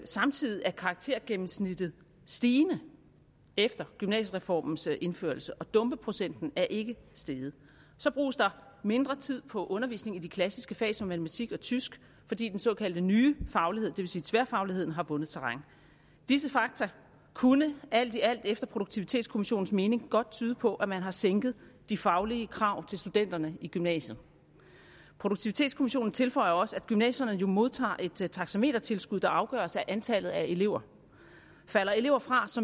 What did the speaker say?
samtidig er karaktergennemsnittet stigende efter gymnasiereformens indførelse og dumpeprocenten er ikke steget så bruges der mindre tid på undervisning i de klassiske fag som matematik og tysk fordi den såkaldte nye faglighed det vil sige tværfagligheden har vundet terræn disse fakta kunne alt i alt efter produktivitetskommissionens mening godt tyde på at man har sænket de faglige krav til studenterne i gymnasiet produktivitetskommissionen tilføjer også at gymnasierne jo modtager et taxametertilskud der afgøres af antallet af elever falder elever fra